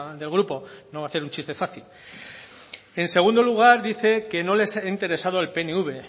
del grupo creo no voy a hacer un chiste fácil en segundo lugar dice que no les ha interesado al pnv